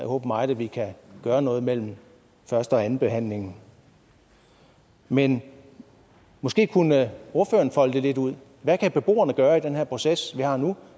håber meget at vi kan gøre noget mellem første og andenbehandlingen men måske kunne ordføreren folde det lidt ud hvad kan beboerne gøre i den her proces vi har nu